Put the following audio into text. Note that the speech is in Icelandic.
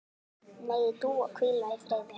Megi Dúa hvíla í friði.